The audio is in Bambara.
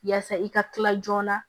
Yaasa i ka kila joona